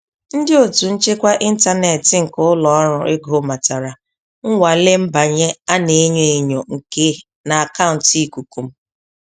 Ndị otu nchekwa intaneti nke ụlọ ọrụ ego matara nnwale mbanye a na-enyo enyo nke n'akauntu ikuku m.